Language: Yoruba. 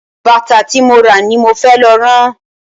Bàtà ti mo ra ni mo fẹ́ lọ rán.